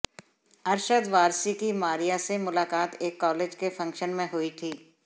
अरशद वारसी की मारिया से मुलाकात एक कॉलेज के फंग्शन में हुई थी